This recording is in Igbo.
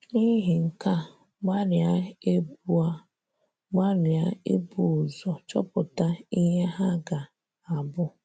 N’ihi nke a, gbalịa ibu a, gbalịa ibu ụzọ chọpụta ihe ha ga - abụ.